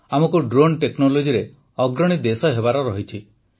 ଆମକୁ ଡ୍ରୋନ୍ ଟେକ୍ନୋଲୋଜିରେ ଅଗ୍ରଣୀ ଦେଶ ହେବାର ଅଛି